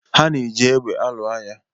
Ha na-eji égbè alụ agha